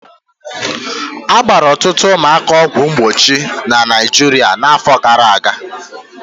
A gbara ọtụtụ ụmụaka ọgwụ mgbochi na Naịjirịa n'afọ gara aga